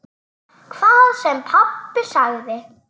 Hvað sem pabbi sagði.